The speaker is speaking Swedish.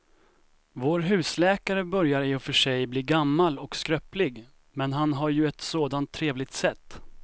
Vår husläkare börjar i och för sig bli gammal och skröplig, men han har ju ett sådant trevligt sätt!